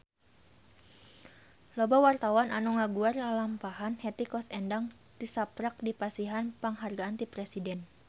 Loba wartawan anu ngaguar lalampahan Hetty Koes Endang tisaprak dipasihan panghargaan ti Presiden